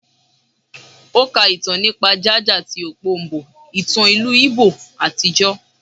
O ká ìtàn nípa ja-ja tí okpobo, ìtàn ìlú Igbo àtijọ́.